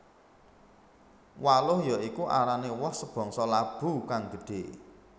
Waluh ya iku arané woh sebangsa labu kang gedhé